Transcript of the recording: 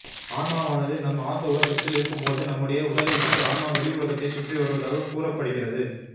ஆன்மாவானது நாம் ஆழ்ந்த உறக்கத்தில் இருக்கும்பொழுது நம்முடைய உடலைவிட்டு ஆன்மா வெளி உலகத்தைச் சுற்றி வருவதாகக் கூறப்படுகிறது